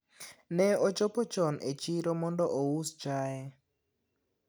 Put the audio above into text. ne ochopo chon e chiro mondo ous chaye